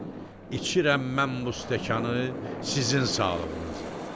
İçirəm mən bu stəkanı sizin sağlığınıza.